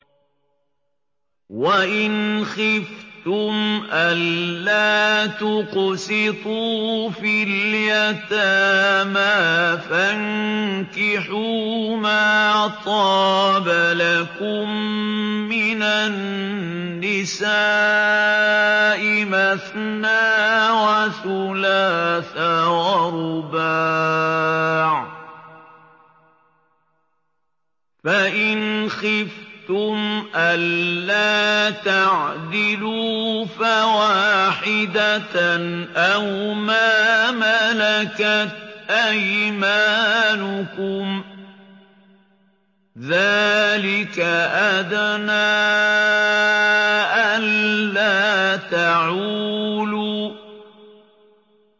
وَإِنْ خِفْتُمْ أَلَّا تُقْسِطُوا فِي الْيَتَامَىٰ فَانكِحُوا مَا طَابَ لَكُم مِّنَ النِّسَاءِ مَثْنَىٰ وَثُلَاثَ وَرُبَاعَ ۖ فَإِنْ خِفْتُمْ أَلَّا تَعْدِلُوا فَوَاحِدَةً أَوْ مَا مَلَكَتْ أَيْمَانُكُمْ ۚ ذَٰلِكَ أَدْنَىٰ أَلَّا تَعُولُوا